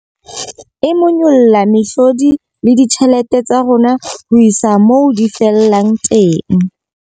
E monyolla mehlodi le ditjhelete tsa rona ho isa moo di fellang teng.